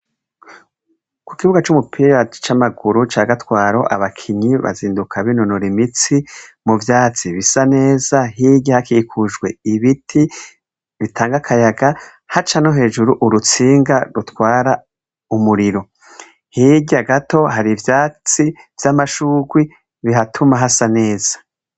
Ku ikibuga c'umupira c'amaguru ca gatwaro abakinyi bazinduka binonora imitsi mu vyatsi bisa neza hirya hakikujwe ibiti bitangakayaga haca no hejuru urutsinga rutwara umuriro hirya gato hari ivyatsi vy'amashurwi bihatuma hasa neza.